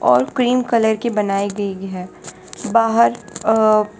और cream colour की बनाई गई है बाहर अह --